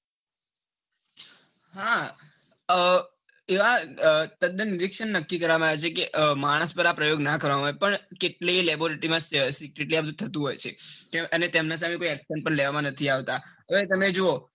હા તદ્દન નક્કી કરવામાં આવે છે કે માણસ પર આ પ્રયોગો ના કરવામાં આવે પણ કેટલીક laboratory પર નિરીક્ષણ થતું હોય છે. એને તેમના સામે કોઈ action પણ લેવામાં નથી આવતા.